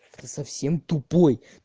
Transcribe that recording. ты совсем тупой